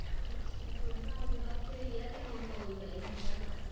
ਅੱਛਾ ਤੁਹਾਡੇ ਨਾਲ ਦੇ ਬੱਸ ਇਹੀ ਆ ਫਿਰ ਹੋਰ ਤਾਂ ਕੋਈ ਹੈ ਨੀ ਰਹਿੰਦਾ